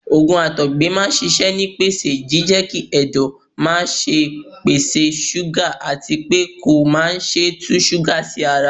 Ògùn Àtọ̀gbẹ máa ń ṣisẹ́ nípasẹ̀ jíjẹ́kí Ẹ̀dọ̀ máṣe pèsè ṣúgà àti pé kó má ṣe tú ṣúgà sí ara.